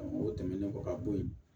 O tɛmɛnen kɔ ka bɔ yen